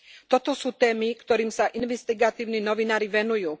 Toto sú témy, ktorým sa investigatívni novinári venujú.